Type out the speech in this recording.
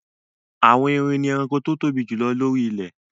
Àwọn erin ni ẹranko tó tóbi jù lóri ilẹ̀